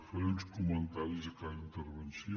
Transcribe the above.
faré uns comentaris a cada intervenció